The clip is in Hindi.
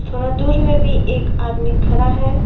थोरा दूर में भी एक आदमी खड़ा है।